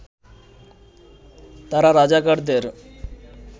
তারা রাজাকারদের